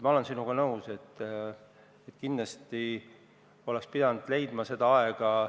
Ma olen sinuga nõus, et kindlasti oleks pidanud leidma seda aega.